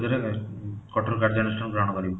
ଯୋଉଁଟାକି କଠୋର କାର୍ଯ୍ୟନୁଷ୍ଠାନ ଗ୍ରହଣ କରିବୁ